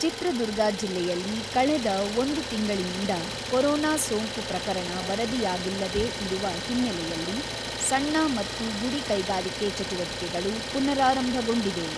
ಚಿತ್ರದುರ್ಗ ಜಿಲ್ಲೆಯಲ್ಲಿ ಕಳೆದ ಒಂದು ತಿಂಗಳಿನಿಂದ ಕೊರೋನಾ ಸೋಂಕು ಪ್ರಕರಣ ವರದಿಯಾಗಿಲ್ಲದೇ ಇರುವ ಹಿನ್ನೆಲೆಯಲ್ಲಿ ಸಣ್ಣ ಮತ್ತು ಗುಡಿ ಕೈಗಾರಿಕೆ ಚಟುವಟಿಕೆಗಳು ಪುನಾರಾರಂಭಗೊಂಡಿವೆ.